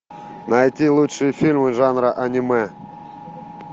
найти лучшие фильмы жанра аниме